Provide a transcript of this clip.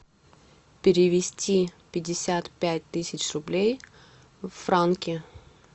перевести пятьдесят пять тысяч рублей в франки